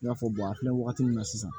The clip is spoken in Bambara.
I b'a fɔ an filɛ wagati min na sisan